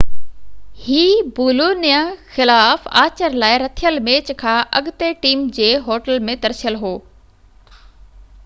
هِي Bologna خلاف آچر لاءِ رٿيل ميچ کان اڳتي ٽيم جي هوٽل ۾ ترسيل هو